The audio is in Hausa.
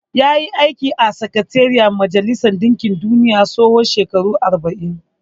Ya yi aiki a Sakatariyar Majalisar ɗinkin duniya na tsawon shekaru arba'in.